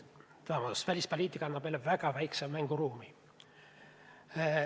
Samas välispoliitika annab meile väga väikse mänguruumi.